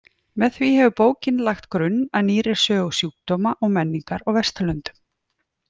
Með því hefur bókin lagt grunn að nýrri sögu sjúkdóma og menningar á Vesturlöndum.